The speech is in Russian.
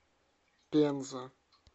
пенза